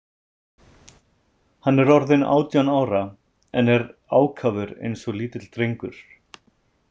Hann er orðinn átján ára en er ákafur eins og lítill drengur.